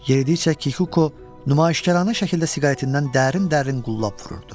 Yeridikcə Kikuko nümayişkaranə şəkildə siqaretindən dərin-dərin qullab vururdu.